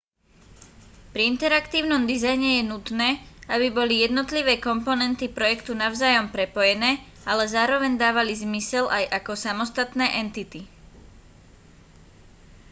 pri interaktívnom dizajne je nutné aby boli jednotlivé komponenty projektu navzájom prepojené ale zároveň dávali zmysel aj ako samostatné entity